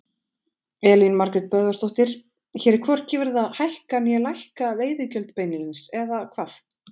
Elín Margrét Böðvarsdóttir: Hér hvorki verið að hækka né lækka veiðigjöld beinlínis, eða hvað?